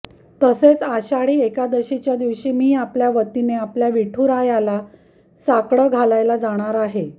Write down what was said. तसेच आषाढी एकादशीच्या दिवशी मी आपल्या वतीने आपल्या विठुरायाला साकडं घालायला जाणार आहे